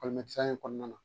Ekɔlimɛtɛrɛya in kɔnɔna na